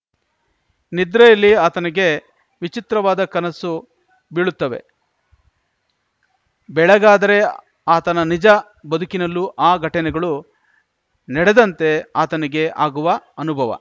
ನಿದ್ರೆಯಲ್ಲಿ ಆತನಿಗೆ ವಿಚಿತ್ರವಾದ ಕನಸು ಬೀಳುತ್ತವೆ ಬೆಳಗಾದರೆ ಆತನ ನಿಜ ಬದುಕಲ್ಲೂ ಆ ಘಟನೆಗಳು ನಡೆದಂತೆ ಆತನಿಗೆ ಆಗುವ ಅನುಭವ